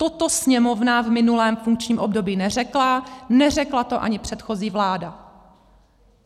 Toto Sněmovna v minulém funkčním období neřekla, neřekla to ani předchozí vláda.